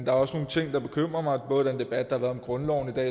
er også nogle ting der bekymrer mig for eksempel den debat om grundloven der